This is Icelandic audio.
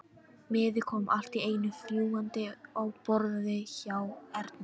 Miði kom allt í einu fljúgandi á borðið hjá Erni.